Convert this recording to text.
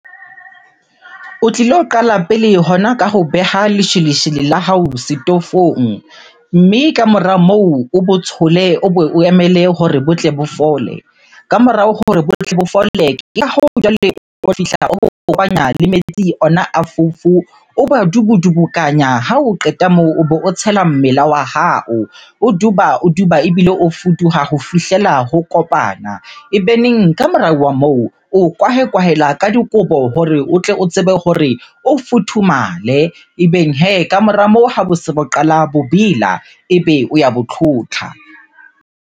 O tlilo qala pele hona ka ho beha lesheleshele la hao setofong. Mme kamora moo o bo tshole, o bo o emele hore botle bo fole. Ka morao hore botle bo fole, ke ka hoo jwale o o kopanya le metsi ona a fofo, o badubudukanya. Ha o qeta moo o be o tshela mmela wa hao, o duba, o duba ebile o fuduwa ho fihlela ho kopana. Ebeneng ka morao wa moo, o kwahe kwahela ka dikobo hore o tle o tsebe hore o futhumale. Ebeng hee ka mora moo ha bo se bo qala bo bela, ebe o ya bo tlhotlha.